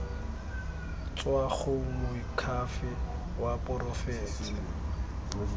tswa go moakhaefe wa porofense